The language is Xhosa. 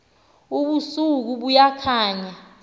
ubuso buya khanya